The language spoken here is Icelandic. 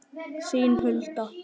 Þín Hulda.